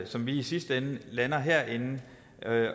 som vi i sidste ende lander herinde